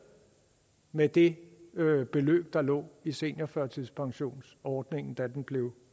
med det beløb der lå i seniorførtidspensionsordningen da den blev